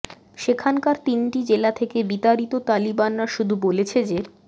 সেখানকার তিনটি জেলা থেকে বিতাড়িত তালিবানরা শুধু বলেছে যে